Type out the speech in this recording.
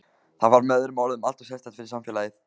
Það var með öðrum orðum alltof sérstakt fyrir samfélagið.